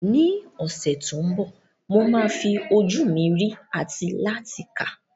Ní ọ̀sẹ̀ tó ń bọ̀, mo máa fi ojú mi rí àti láti kà.